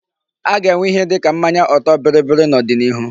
A ga-enwe ìhè dịka mmanya ọtọ bịrịbịrị n'odinihu.